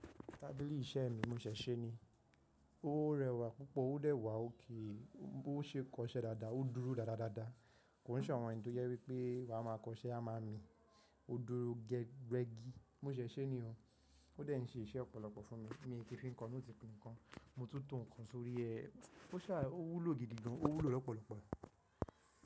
Tábìlì iṣẹ́ mi mo ṣẹ̀ ṣe ni, ó rẹwà púpọ̀, ó dẹ̀ wà oké, bó ṣe kọ iṣẹ́ dáadáa, ó dúró dáadáa dáadáa, kò sọ̀ àwọn èyí tó jẹ́ wípé wa máa kọ iṣẹ́ a máa mi, ó dúró gẹ́gẹ́ rẹ́gí, mó ṣẹ̀ ṣe ni o, ó dẹ̀ ń ṣe iṣẹ́ ọ̀pọ̀lọpọ̀ fún mi, mi kì í fi nǹkan, ó ti fi nǹkan, mo tún tún nǹkan sórí ẹ, ó sá, ó wúlò gidigan, ó wúlò lọ́pọ̀lọpọ̀